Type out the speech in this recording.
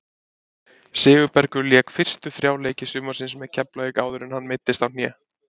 Sigurbergur lék fyrstu þrjá leiki sumarsins með Keflavík áður en hann meiddist á hné.